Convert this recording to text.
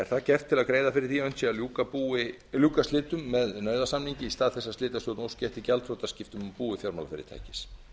það gert til að greiða fyrir því að unnt sé að ljúka slitum með nauðasamningi í stað þess að slitastjórn óski eftir gjaldþrotaskiptum á búi fjármálafyrirtækis